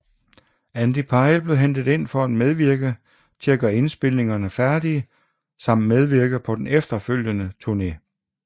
Andy Pyle blev hentet ind for at medvirke til at gøre indspilningerne færdige samt medvirke på den efterfølgende turné